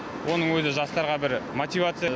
оның өзі жастарға бір мотивация